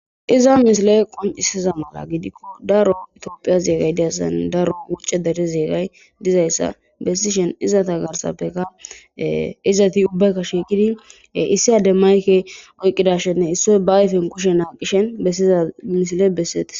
iza mishile qoncisiza mala gidikko daro itoophiya zeegay diyasane daro wucce dare zeegay dizayssa bessi shen izata garsappeka izati ubbaykka shiiqidi issi ade mayke oyqidashenne issoy ba ayfen kushen aaqishen bessiza misile besseis